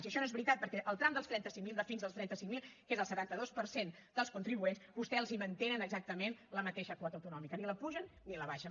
i això no és veritat perquè el tram de fins als trenta cinc mil que és el setanta dos per cent dels contribuents vostès els mantenen exactament la mateixa quota autonòmica ni l’apugen ni l’abaixen